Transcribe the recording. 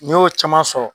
N'i y'o caman sɔrɔ